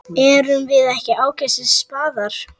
Erum við ekki ágætis spaðar?